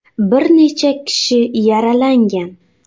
Bir necha kishi yaralangan.